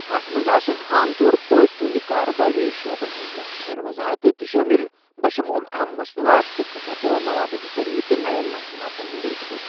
اتھ منٛز آسَن عام طور پٲٹھۍ تہنٛدِ کارٕبٲرۍ شعبن ہنٛز مۄخصَر وَضاحَتہٕ تہِ شٲمِل، بشموٗل اَہَم مصنوعات تہٕ خدمتہٕ، موادُک ذریعہٕ، تہٕ نَین مصنوعاتن ہنٛد رُتبہٕ۔